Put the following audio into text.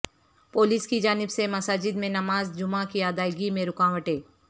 police کی جانب سے مساجد میں نماز جمعہ کی ادائیگی میں رکاوٹیں